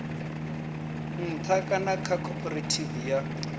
nṱha kana kha khophorethivi ya